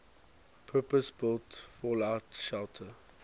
purpose built fallout shelter